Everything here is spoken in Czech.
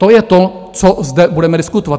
To je to, co zde budeme diskutovat.